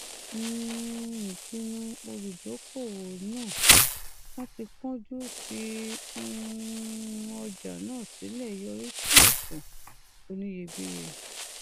um ìpinnu olùdókòwò náà láti kánjú fi um ọjà náà sílẹ yọrí sí òfò oníyebíye